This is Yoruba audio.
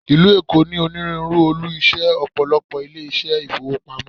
Ìlú Èkó ní onírúurú olú ilé iṣẹ́ Ọ̀pọ̀lọ́pọ̀ ilé iṣẹ́ ìfowópamọ́.